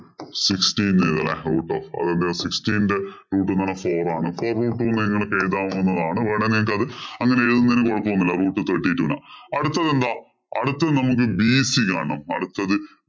sixteen ചെയ്യാ ലെ root of sixteen ന്റെ root എന്ന് പറഞ്ഞാ four ആണ്. four root two എന്ന് നിങ്ങൾക്ക് എഴുതാവുന്നതാണ് വേണമെങ്കിൽ അത് അങ്ങനെ എഴുതുന്നതിൽ കൊഴപ്പമൊന്നുമില്ല. root thirty two എന്ന്. അടുത്തതെന്താ അടുത്തത് നമ്മക്ക് bc യാണ്. അടുത്തത്